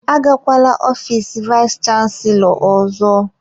Agakwala ofiis vayis chansilọ ọzọ!